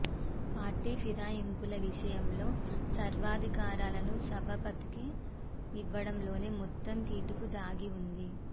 party ఫిరాయింపుల విషయంలో సర్వాధికారాలను సభాపతికి ఇవ్వడంలోనే మొత్తం కిటుకు దాగి ఉంది